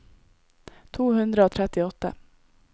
to hundre og trettiåtte